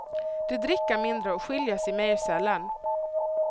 De dricker mindre och skiljer sig mer sällan.